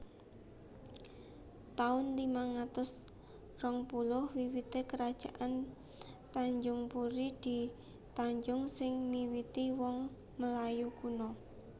taun limang atus rong puluh WiwitéKerajaan Tanjungpuri di Tanjung sing miwiti wong Melayu kuno